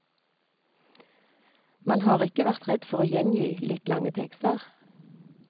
Man har ikke vært redd for å gjengi litt lange tekster.